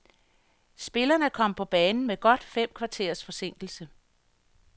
Spillerne kom på banen med godt fem kvarters forsinkelse.